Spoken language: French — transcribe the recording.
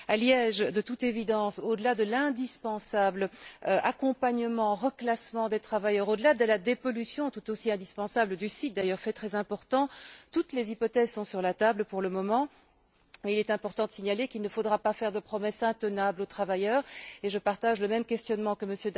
À Liège, de toute évidence, au delà des indispensables mesures d'accompagnement et de reclassement des travailleurs, au delà de la dépollution tout aussi indispensable du site fait très important, d'ailleurs toutes les hypothèses sont sur la table pour le moment. Il est important de signaler qu'il ne faudra pas faire de promesses intenables aux travailleurs, et je partage le questionnement que M.